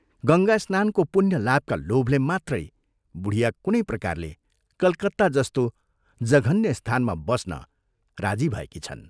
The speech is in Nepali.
गङ्गास्नानको पुण्यलाभका लोभले मात्रै बुढिया कुनै प्रकारले कलकत्ता जस्तो जघन्य स्थानमा बस्न राजी भएकी छन्।